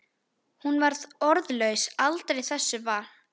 Hún var orðlaus aldrei þessu vant.